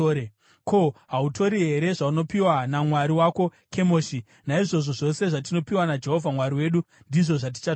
Ko, hautori here zvaunopiwa namwari wako Kemoshi? Naizvozvo zvose zvatinopiwa naJehovha Mwari wedu, ndizvo zvatichatora.